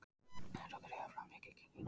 Er þetta þriðja framlengingin